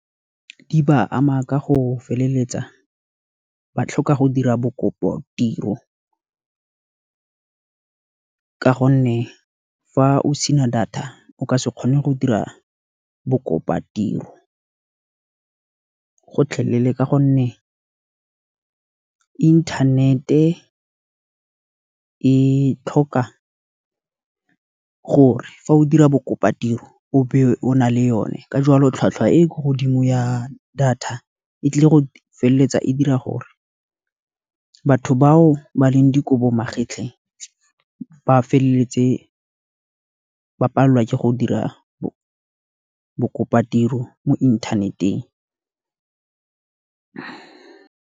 Di ba ama ka go feleletsa ba tlhoka go dira bo kopotiro, ka gonne fa o sena data o ka se kgone go dira bo kopatiro ka gotlhelele. Ka gonne internet-e e tlhoka gore fa o dira bo kopatiro o be o na le yone. Ka jwalo tlhwatlhwa e ko godimo ya data, e tlile go feleletsa e dira gore batho bao ba leng dikobo magetlhe, ba feleletse ba palelwa ke go dira bo kopatiro mo inthaneteng.